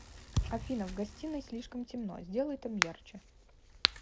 афина в гостиной слишком темно сделай там ярче